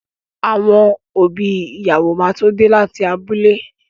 Àwọn òbí ìyàwó máa tó dé láti abúlé.